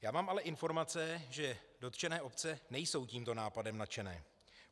Já mám ale informace, že dotčené obce nejsou tímto nápadem nadšené.